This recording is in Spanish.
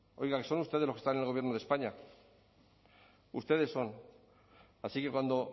oiga son ustedes los que están en el gobierno de españa ustedes son así que cuando